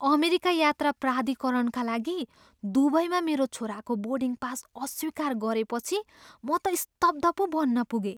America यात्रा प्राधिकरणका लागि दुबईमा मेरो छोराको बोर्डिङ पास अस्वीकार गरिएपछि म त स्तब्ध पो बन्न पुगेँ।